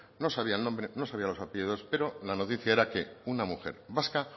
no sabía el nombre no sabía los apellidos pero la noticia era que una mujer vasca